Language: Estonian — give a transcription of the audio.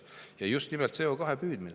Ja just nimelt CO2 püüdmine …